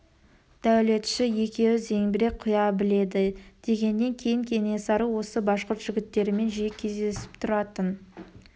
дәулетші екеуі зеңбірек құя біледі дегеннен кейін кенесары осы башқұрт жігіттерімен жиі кездесіп тұратын